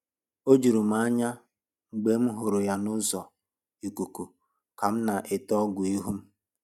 O juru m anya mgbe m hụrụ ya n’ụzọ ikuku ka m na-ete ọgwụ ihu m